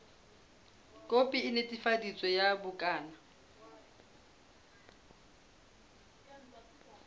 khopi e netefaditsweng ya bukana